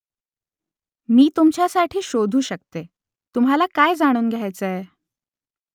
मी तुमच्यासाठी शोधू शकते . तुम्हाला काय जाणून घ्यायचंय ?